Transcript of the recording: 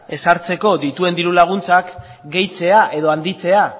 ezartzeko dituen diru laguntzak gehitzea edo handitzea